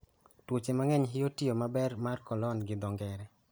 Tuoche mang'eny hinyo tiyo maber mar Colon gi dho ngere.